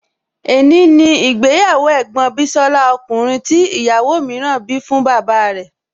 È ní ni ìgbéyàwó ẹ̀gbọ́n bísọ́lá ọkùnrin tí ìyàwó mìíràn bí fún bàbá rẹ̀